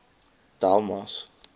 delmas